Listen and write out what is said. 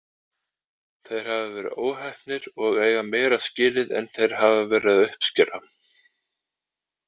Þeir hafa verið óheppnir og eiga meira skilið en þeir hafa verið að uppskera.